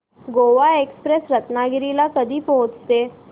Goa express Ratnagiri ला कधी पोहचते